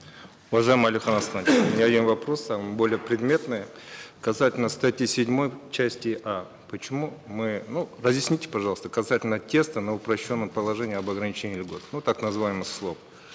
уважаемый алихан асханович у меня один вопрос он более предметный касательно статьи седьмой части а почему мы ну разъясните пожалуйста касательно теста на упрощенном положении об ограничении льгот ну так называемый